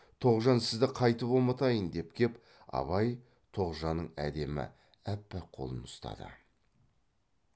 тоғжан сізді қайтіп ұмытайын деп кеп абай тоғжанның әдемі аппақ қолын ұстады